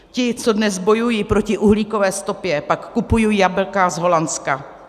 Ti, co dnes bojují proti uhlíkové stopě, pak kupují jablka z Holandska.